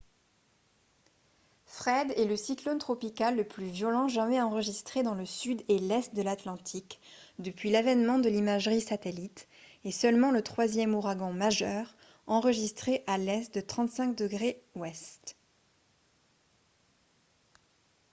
fred est le cyclone tropical le plus violent jamais enregistré dans le sud et l'est de l'atlantique depuis l'avènement de l'imagerie satellite et seulement le troisième ouragan majeur enregistré à l'est de 35°w